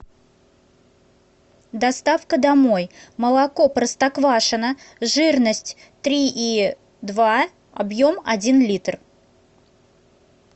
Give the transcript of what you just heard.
доставка домой молоко простоквашино жирность три и два объем один литр